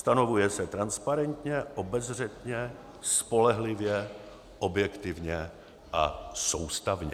Stanovuje se transparentně, obezřetně, spolehlivě, objektivně a soustavně.